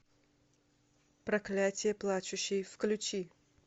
проклятие плачущей включи